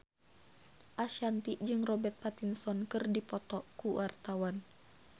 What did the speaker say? Ashanti jeung Robert Pattinson keur dipoto ku wartawan